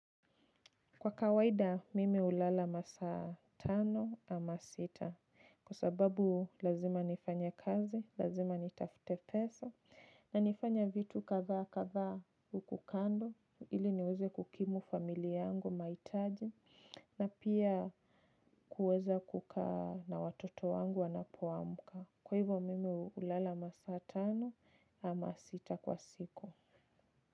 Kwa kawaida mimi ulala masa tano ama sita kwa sababu lazima nifanya kazi, lazima nitafute pesa na nifanya vitu kadha kadha huku kando ili niweze kukimu familia yangu mahitaji na pia kuweza kukaa na watoto wangu wanapoamka. Kwa hivyo mimi hulala masaa tano ama sita kwa siku.